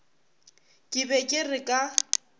ke be ke re ka